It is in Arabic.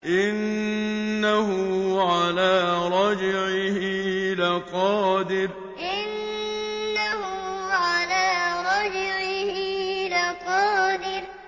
إِنَّهُ عَلَىٰ رَجْعِهِ لَقَادِرٌ إِنَّهُ عَلَىٰ رَجْعِهِ لَقَادِرٌ